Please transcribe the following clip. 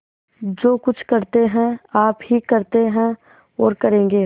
जो कुछ करते हैं आप ही करते हैं और करेंगे